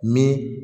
Ni